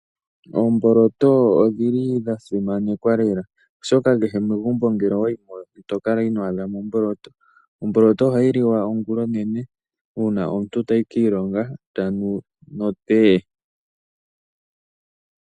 Oomboloto odhili dha simanekwa lela, oshoka kehe megumbo ngele owayi ito kala ino monamo omboloto. Omboloto ha yi liwa ongulonene uuna omuntu ta yi kiilonga no tee